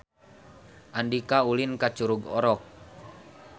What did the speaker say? Andika ulin ka Curug Orok